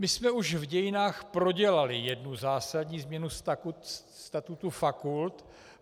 My jsme už v dějinách prodělali jednu zásadní změnu statutu fakult.